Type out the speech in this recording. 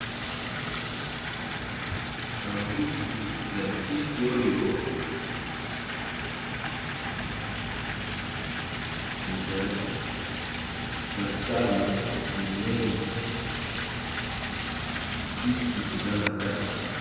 Sanduku ya kisi oyo eza na talo minene kisi eza na kati.